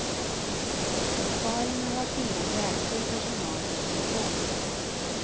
Besparingar har tvingat värdefull personal i pension.